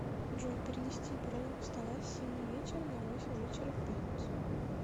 джой перенести бронь стола с семи вечера на восемь вечера в пятницу